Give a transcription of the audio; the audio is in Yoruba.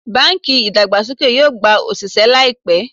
Bánkì ìdàgbàsókè yóò gba òsìsẹ́ láìpẹ́